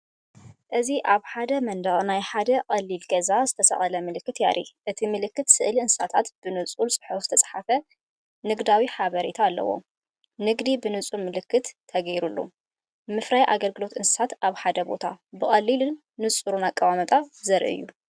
እዚ ኣብ መንደቕ ናይ ሓደ ቀሊል ገዛ ዝተሰቕለ ምልክት የርኢ። እቲ ምልክት ስእሊ እንስሳታት ብንጹር ጽሑፍ ዝተጻሕፈ ንግዳዊ ሓበሬታን ኣለዎ። ንግዲ ብንጹር ምልክት ተገይሩሉ! ምፍራይን ኣገልግሎትን እንስሳታት ኣብ ሓደ ቦታ፡ ብቐሊልን ንጹርን ኣቀማምጣ ዘርኢ እዩ።